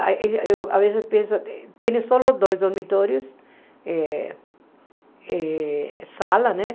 Eh eu às vezes penso... Tinha só dois dormitórios, eh eh sala, né?